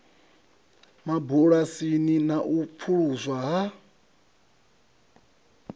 mabulasini na u pfuluswa ha